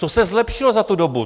Co se zlepšilo za tu dobu?